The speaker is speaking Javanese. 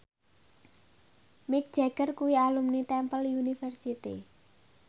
Mick Jagger kuwi alumni Temple University